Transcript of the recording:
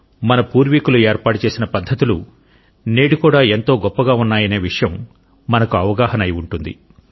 మన పూర్వీకులు ఏర్పాటు చేసిన పద్ధతులు నేడు కూడా ఎంత గొప్పగా ఉన్నాయనే విషయం మనకు అవగాహన అయి ఉంటుంది